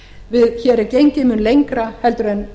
við höfum gengið mun lengra heldur en